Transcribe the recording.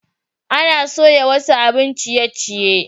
Ana soya wasu abin ciye-ciye.